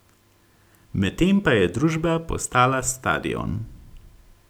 Medtem pa je družba postala stadion!